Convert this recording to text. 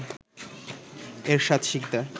Ershad Sikdar